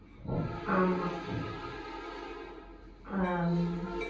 ஆமா ஆஹ்